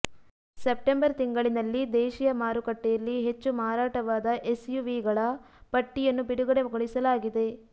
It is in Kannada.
ಸೆಪ್ಟೆಂಬರ್ ತಿಂಗಳಿನಲ್ಲಿ ದೇಶಿಯ ಮಾರುಕಟ್ಟೆಯಲ್ಲಿ ಹೆಚ್ಚು ಮಾರಾಟವಾದ ಎಸ್ಯುವಿಗಳ ಪಟ್ಟಿಯನ್ನು ಬಿಡುಗಡೆಗೊಳಿಸಲಾಗಿದೆ